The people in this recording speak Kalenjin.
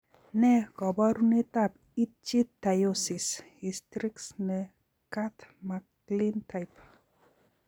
Nee kaparunet ap ichythyosis hystrix ne curth macklin type